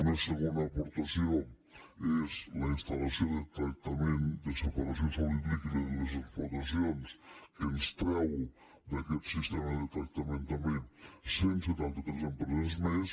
una segona aportació és la instal·lació de tractament de separació sòlid líquid en les explotacions que ens treu d’aquest sistema de tractament també cent i setanta tres empreses més